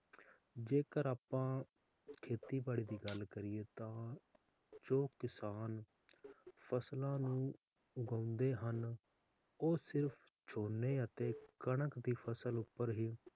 ਜੇਕਰ ਆਪਾਂ ਖੇਤੀਬਾੜੀ ਦੀ ਗੱਲ ਕਰੀਏ ਤਾ ਜੋ ਕਿਸਾਨ ਫਸਲਾਂ ਨੂੰ ਉਗਾਉਂਦੇ ਹਨ ਉਹ ਸਿਰਫ ਝੋਨੇ ਅਤੇ ਕਣਕ ਦੀ ਫਸਲ ਉੱਪਰ ਹੀ,